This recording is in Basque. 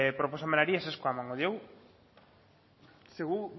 proposamenari ezezkoa emango diogu ze gu